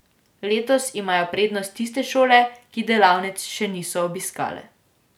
Letos imajo prednost tiste šole, ki delavnic še niso obiskale.